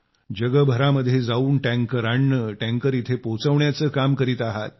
जगभरामध्ये जाऊन टँकर आणणं टँकर इथं पोहोचवण्याचं काम करीत आहात